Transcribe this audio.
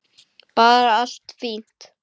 Bara allt fínt.